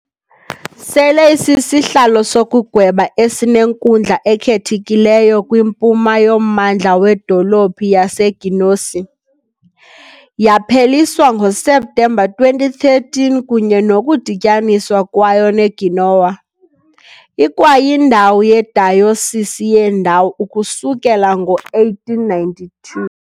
Sele isisihlalo sokugweba esinenkundla ekhethekileyo kwimpuma yommandla wedolophu yaseGenoese, yapheliswa ngoSeptemba 2013 kunye nokudityaniswa kwayo neGenoa, ikwayindawo yedayosisi yendawo ukusukela ngo-1892.